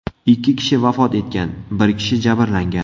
Ikki kishi vafot etgan, bir kishi jabrlangan.